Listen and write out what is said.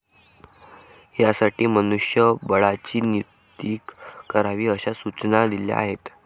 यासाठी मनुष्यबळाची नियुक्ती करावी अशा सूचना दिल्या आहेत.